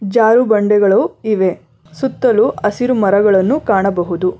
ಜಾರು ಬಂಡೆಗಳು ಇವೆ ಸುತ್ತಲೂ ಹಸಿರು ಮರಗಳನ್ನು ಕಾಣಬಹುದು.